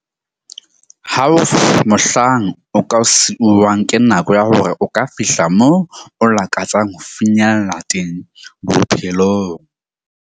Ha ho na mohlang o ka siuwang ke nako ya hore o ka fihla moo o lakatsang ho finyella teng bophelong.